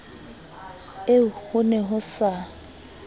eo ho ne ho sa